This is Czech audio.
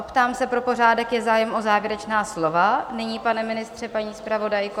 Optám se pro pořádek, je zájem o závěrečná slova nyní, pane ministře, paní zpravodajko?